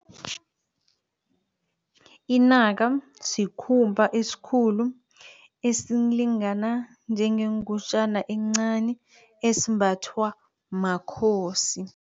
Inaka sikhumba esikhulu esilingana njengengutjana encani esimbathwa makhosi.